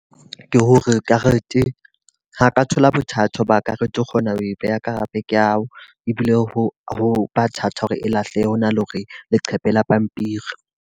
Ke hore karete, ha ka thola bothata ho ba ka re tlo kgona ho e beha ka hare ho bag ya hao. Ebile ho ho ba thata hore e lahlehe, ho na le hore leqhepe le pampiri.